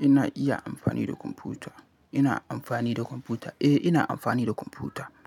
ina iya amfani da kwamfuta. Ina amfani da kwamfuta. Eh, ina amfani da kwamfuta.